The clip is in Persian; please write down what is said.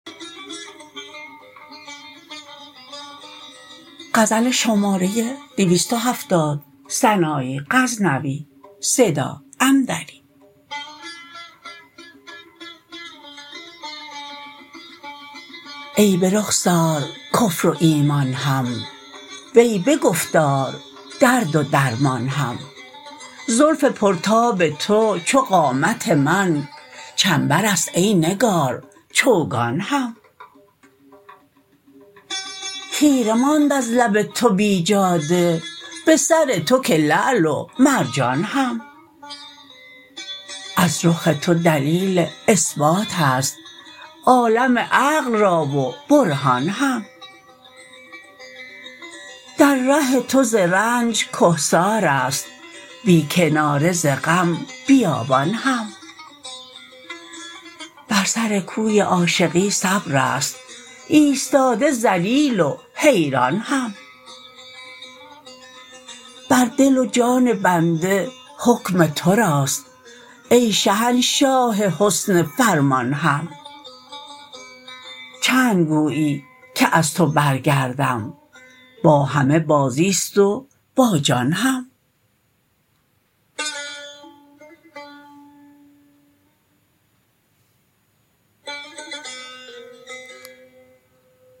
ای به رخسار کفر و ایمان هم وی به گفتار درد و درمان هم زلف پر تاب تو چو قامت من چنبرست ای نگار چوگان هم خیره ماند از لب تو بیجاده به سر تو که لعل و مرجان هم از رخ تو دلیل اثبات ست عالم عقل را و برهان هم در ره تو ز رنج کهسارست بی کناره ز غم بیابان هم بر سر کوی عاشقی صبرست ایستاده ذلیل و حیران هم بر دل و جان بنده حکم تو راست ای شهنشاه حسن فرمان هم چند گویی که از تو برگردم با همه بازی ست و با جان هم